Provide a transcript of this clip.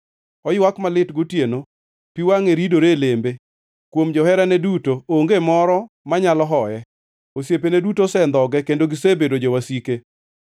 Oywak malit gotieno, pi wangʼe ridore e lembe. Kuom joherane duto, onge moro manyalo hoye. Osiepene duto osendhoge kendo gisebedo jowasike.